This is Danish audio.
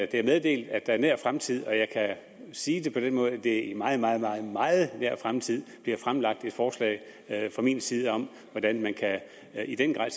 det er meddelt at der i nær fremtid og jeg kan sige det på den måde at det er i meget meget meget nær fremtid bliver fremsat et forslag fra min side om hvordan man i den grad